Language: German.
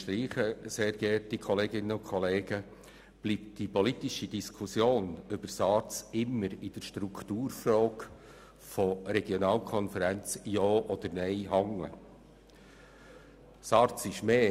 ich unterstreichen − bleibt die politische Diskussion über die SARZ immer an der Strukturfrage hängen, ob Regionalkonferenzen oder nicht.